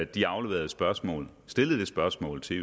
de afleverede spørgsmål stillet spørgsmålet til